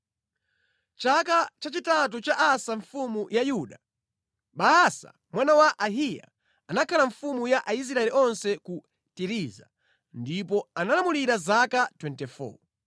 Chaka chachitatu cha Asa mfumu ya Yuda, Baasa mwana wa Ahiya anakhala mfumu ya Aisraeli onse ku Tiriza, ndipo analamulira zaka 24.